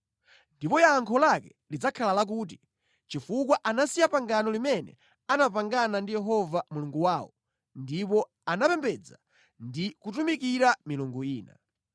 Ndipo yankho lake lidzakhala lakuti, ‘Chifukwa anasiya pangano limene anapangana ndi Yehova Mulungu wawo ndipo anapembedza ndi kutumikira milungu ina.’ ”